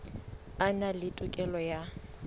a na le tokelo ya